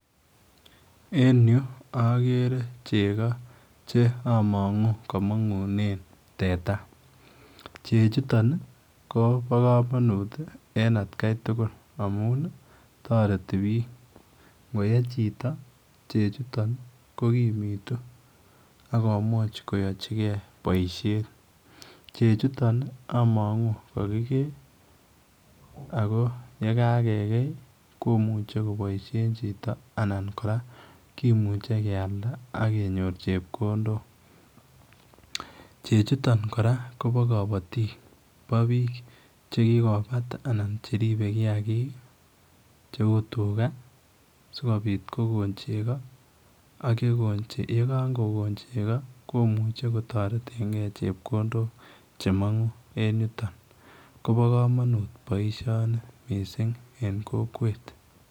En yu agere chego che amangu kole kamangunen teta ,chechuutoon kobaa kamanut at Kai tugul amuun ii taretii bikini, ngoyee chitoo chechuutoon ko kimituu akomuuch koyachikei boisiet , chechuutoon amangu ko kakigei ako ye kagekei komuchei kobaishen chitoo anan kora komuchei keyalda akenyoor chepkondok che chutoon kora kobaa kabatiik ,bo biil che kikobaat anan ko che ribeye kiagik che uu tugaa sikobiit kogoon chego ak ye kagokoon chego komuchei kotareten gei chepkondok che mangu eng yutoon kobaa boisioni missing en kokwet .